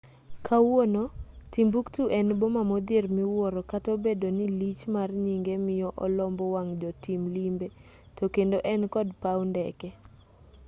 kawuono timbuktu en boma modhier miwuoro kata obedo ni lich mar nyinge miyo olombo wang' jotim limbe to kendo en kod paw ndeke